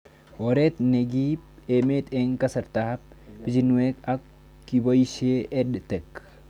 Oret ne kiip emet eng' kasarta ab pichinwek ko kipoishe EdTech